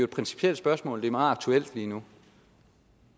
principielt spørgsmål og det er meget aktuelt lige nu